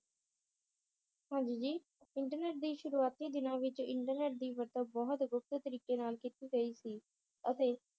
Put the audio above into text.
ਹਾਂਜੀ ਜੀ ਇੰਟਰਨੇਟ ਦੀ ਸ਼ੁਰੂਆਤੀ ਦਿਨਾਂ ਵਿਚ ਇੰਟਰਨੇਟ ਦੀ ਵਰਤੋਂ ਬਹੁਤ ਗੁਪਤ ਤਰੀਕੇ ਨਾਲ ਕੀਤੀ ਗਈ ਸੀ ਅਤੇ